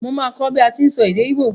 Mo máa kó bi a ti n sọ èdè igbo